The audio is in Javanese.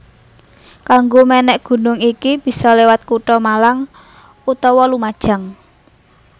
Kanggo mènèk gunung iki bisa liwat kutha Malang utawa Lumajang